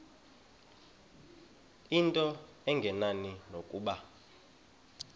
into engenani nokuba